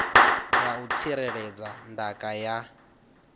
ya u tsireledza ndaka ya